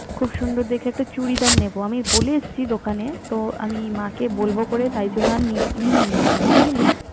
খুব সুন্দর দেখে একটা চুড়িদান নিবো আমি বলে এসছি দোকানে তো আমি মাকে বলব বলে তাই জন্য আর নিই নি এখানে বুঝলি